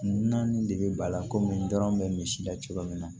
N naani de bɛ bala komi n dɔrɔn bɛ misida cogo min na